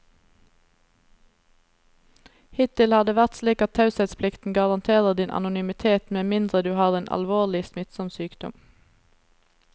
Hittil har det vært slik at taushetsplikten garanterer din anonymitet med mindre du har en alvorlig, smittsom sykdom.